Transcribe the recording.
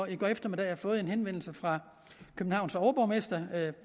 i går eftermiddags har fået en henvendelse fra københavns overborgmester